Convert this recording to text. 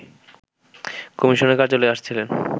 কমিশনারের কার্যালয়ে আসছিলেন